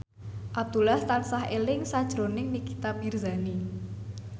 Abdullah tansah eling sakjroning Nikita Mirzani